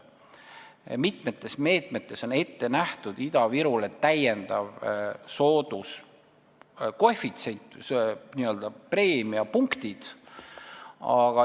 Mitme meetme puhul on Ida-Virule nähtud ette sooduskoefitsient, n-ö preemiapunktid.